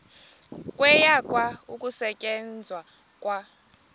kwayekwa ukusetyenzwa kwa